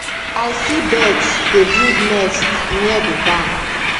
i see birds dey build nests near the barn